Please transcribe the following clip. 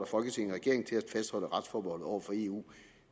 folketinget regeringen til at fastholde retsforbeholdet over for eu